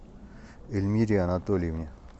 эльмире анатольевне